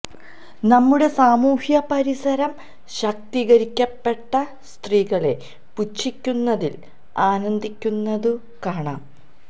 നമ്മുടെ സാമൂഹ്യ പരിസരം ശാക്തീകരിക്കപ്പെട്ട സ്ത്രീകളെ പുച്ഛിക്കുന്നതില് ആനന്ദിക്കുന്നതു കാണാം